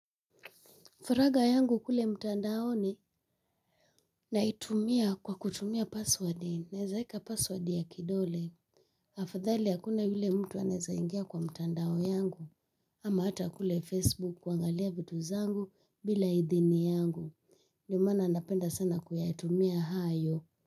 Faragha yangu kule mtandaoni naitumia kwa kutumia password. Naweza weka password ya kidole. Afadhali hakuna yule mtu anaweza ingia kwa mtandao yangu. Ama hata kule Facebook kuangalia vitu zangu bila idhini yangu. Ndo mana napenda sana kuyatumia hayo.